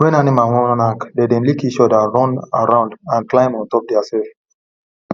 when animals wan knack dem dey lick each other run around and climb on top theirself